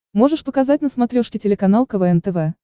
можешь показать на смотрешке телеканал квн тв